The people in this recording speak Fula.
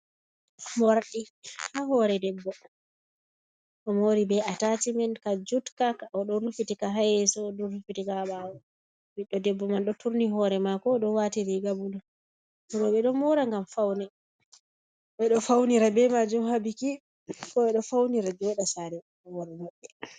Morɗi ha hore debbo o mori be a tacimen ka jutka o ɗon rufitika ha yeso o ɗon rufitika ha ɓawo, ɓiɗɗo debbo man ɗo turni hore mako ɗo wati riga bulu, roɓɓe ɗon mora ngam ɓeɗo faunira be majum ha biki ko ɓe ɗo faunira joɗa sare worɓe maɓɓe.